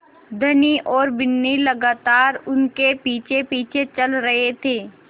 धनी और बिन्नी लगातार उनके पीछेपीछे चल रहे थे